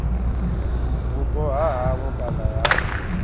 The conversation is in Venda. vhupo ha havho kana ya